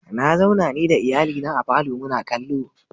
Na zauna ni da iyalina a falo muna kallo.